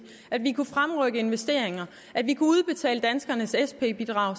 at vi kunne fremrykke investeringer at vi kunne udbetale danskernes sp bidrag